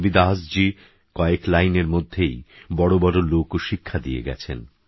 সন্তরবিদাসজীকয়েকলাইনেরমধ্যেইবড়বড়লোকশিক্ষাদিয়েগেছেন